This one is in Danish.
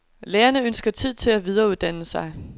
Lærerne ønsker tid til at videreuddanne sig.